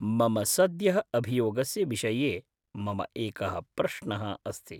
मम सद्यः अभियोगस्य विषये मम एकः प्रश्नः अस्ति।